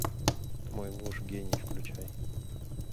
мой муж гений включай